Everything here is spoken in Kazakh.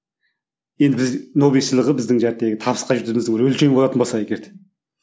енді біз нобель сыйлығы біздің табысқа жететініміздің бір өлшеуі болатын болса егер де